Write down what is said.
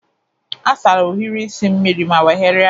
Asara ohiri isi mmiri ma nweghari ya.